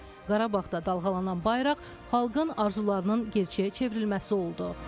Qarabağda dalğalanan bayraq xalqın arzularının gerçəyə çevrilməsi oldu.